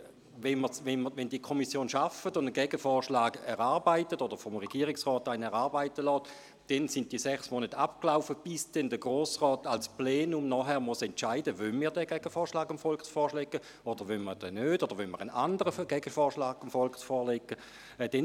Wenn die Kommission einen Gegenvorschlag erarbeitet oder vom Regierungsrat einen solchen erarbeiten lässt, dann sind die sechs Monate abgelaufen, bis der Grosse Rat als Plenum entscheiden muss, ob er den Gegenvorschlag dem Volk vorlegen will oder nicht, beziehungsweise ob er dem Volk einen anderen Gegenvorschlag vorlegen will.